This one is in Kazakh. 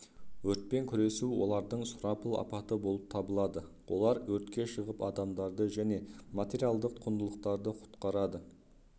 өртпен күресу олардың сұрапыл апаты болып табылады олар өртке шығып адамдарды және материалдық құндылықтарды құтқарды